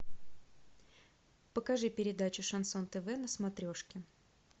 покажи передачу шансон тв на смотрешке